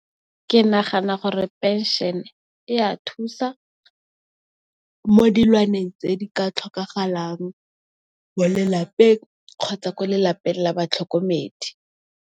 Ke nagana gore phenšene e a thusa mo dilwaneng tse di ka tlhokagalang mo lelapeng, kgotsa ko lelapeng la batlhokomedi.